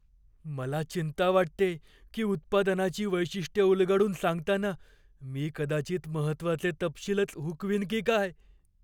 मला चिंता वाटतेय की उत्पादनाची वैशिष्ट्यं उलगडून सांगताना मी कदाचित महत्त्वाचे तपशीलच हुकवीन की काय!